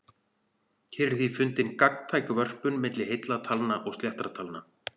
Hér er því fundin gagntæk vörpun milli heilla talna og sléttra talna.